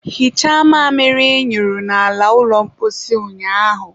hichaa mamịrị ị nyụrụ n'ala ụlọ mposi ụnyaahụ!